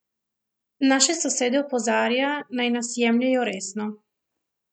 Naše sosede opozarja, naj nas jemljejo resno.